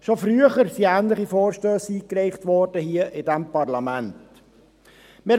schon früher wurden ähnliche Vorstösse in diesem Parlament eingereicht.